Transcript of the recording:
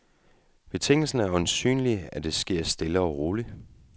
Betingelsen er øjensynlig blot, at det sker stille og roligt.